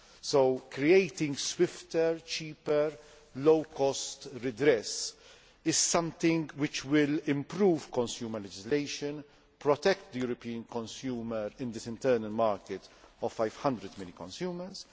So creating swifter, cheaper, low cost redress is something which will improve consumer legislation and protect the European consumer in the internal market of 500 million consumers.